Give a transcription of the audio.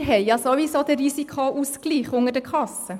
Wir haben ja ohnehin den Risikoausgleich unter den Kassen.